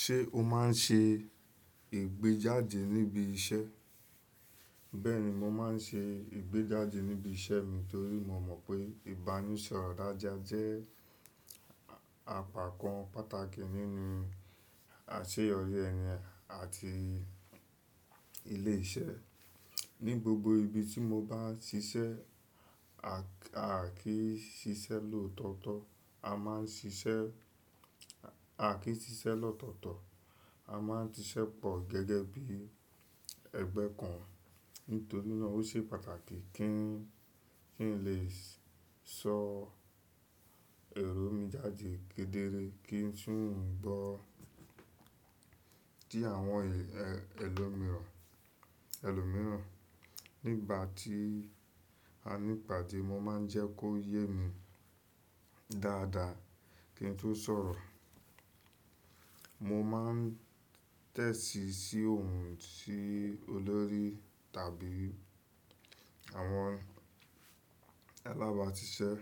Ṣé o máa ń ṣe ìgbéjáde níbi iṣẹ́? Bẹ́ẹ̀ni, mo máa ń ṣe ìgbéjáde níbi iṣẹ́ mi torí mo mọ̀ pé ìbánisọ̀rọ̀ dáadáa jẹ́ àpapọ̀ pàtàkì nínú àṣeyọrí ẹni àti ilé-iṣẹ́. Ni gbogbo ibi tí mo bá ṣiṣẹ́, à kìí ṣiṣẹ́ lòtọ̀ọ̀tọ̀, a máa ń ṣiṣẹ́, à kì ṣiṣẹ́ lọ́tọ̀ọ̀tọ̀, a máa ń ṣiṣẹ́ pọ̀ gẹ́gẹ́ bí ẹgbẹ́ kan. Nítorí náà ó ṣe pàtàkì kí n lè sọ èrò mi jáde kedere kí n sì gbọ́ ti àwọn ẹlòmíràn, ẹlòmíràn. Nígbà tí a ní ìpàdé, mo máa ń jẹ́ kó yé mi dáadáa kí n tó sọ̀rọ̀. Mo máa ń tẹ̀ti sí ohùn ti olórí tàbí àwọn alábáṣiṣẹ́,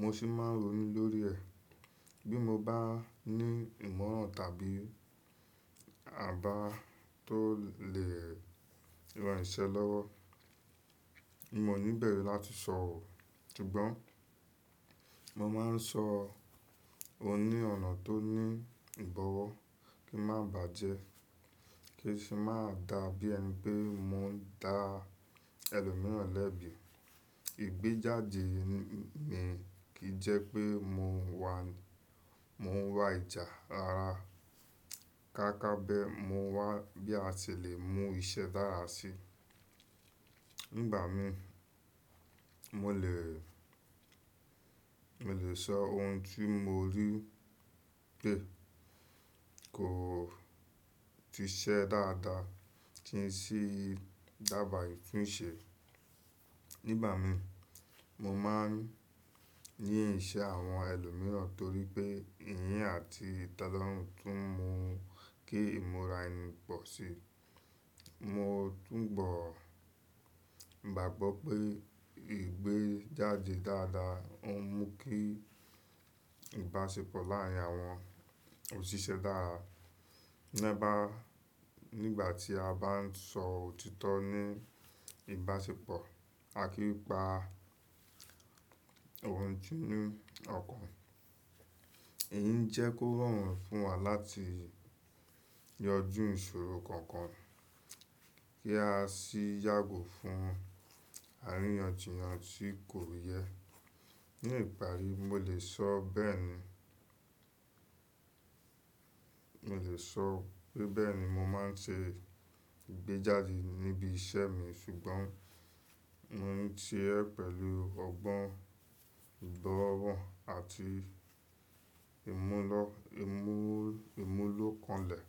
mo sì máa ń ronú lórí ẹ̀. Bí mo bá ní ìmọ̀ràn tàbí àbá tó lè ran iṣẹ́ lọ́wọ́, mi o ní bẹ̀ru láti sọ ọ̀. Ṣùgbọ́n mo máa ń sọ won ní ọ̀nà tó ní ìbọ̀wọ́ kí ń má bà jẹ́, kí sì má dàbí ẹnipé mo ń dá ẹlòmíràn lẹ́bi. Ìgbéjáde mi kì jẹ́ pé mo ń wà, mo ń wá ìjà rara, káká bé mo wá bí a ṣe lè mú iṣẹ́ dára sí. Nígbà mi, mo lè, mo lè sọ ohun tí mo rí pé kò ti ṣẹ́ dáadáa tí n sì dàbàà itunṣẹ. Nígbà mi, mo máa ń yé iṣẹ́ àwọn ẹlòmíràn torí pé ìyín àti ìtelorun tún mú kí ìmúra ẹni pọ̀ sí i. Mo túnbọ̀ gbàgbọ́ pé ìgbéjáde dáadáa ń mú kí ìbáṣepọ̀ láàárín àwọn òṣìṣẹ́ dára. Nígbà tí a bá ń sọ òtítọ́ ní ìbáṣepọ̀, à kí pa ohùn tí ní ọ̀kan. Èyí ń jẹ́ kó rọrùn fún wa láti yanjú ìṣòro kankan kí a sì yàgò fún àríyànjiyàn tí kò yẹ. Ní ìparí, mo lè sọ bẹ́ẹ̀ ni, mo lè sọ bẹ́ẹ̀ni mo máa ń ṣe ìgbéjáde níbi iṣẹ́ mi ṣùgbọ́n mo ń ṣe pẹ̀lú ọgbọ́n ìgbọ́ràn àti ìmúlọ́kanlẹ̀.